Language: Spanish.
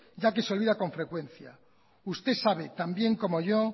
ya que se olvida con frecuencia usted sabe tan bien como yo